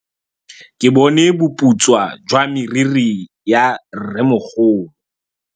Ke bone boputswa jwa meriri ya rrêmogolo.